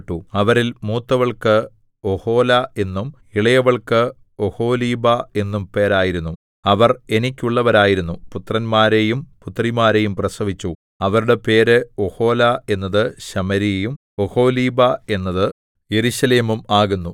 അവരിൽ മൂത്തവൾക്ക് ഒഹൊലാ എന്നും ഇളയവൾക്ക് ഒഹൊലീബാ എന്നും പേരായിരുന്നു അവർ എനിക്കുള്ളവരായിരുന്നു പുത്രന്മാരെയും പുത്രിമാരെയും പ്രസവിച്ചു അവരുടെ പേര് ഒഹൊലാ എന്നത് ശമര്യയും ഒഹൊലീബാ എന്നത് യെരൂശലേമും ആകുന്നു